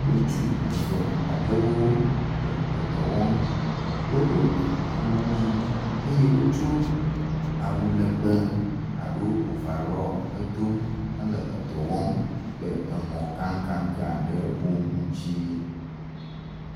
Ŋutsu eve aɖewo le dɔ wɔm, woɖo akuku ʋi eye wotso awu legbe aɖo ovarɔli hedo hele dɔ wɔm le mɔ gã gã gã gã ɖewo ŋuti.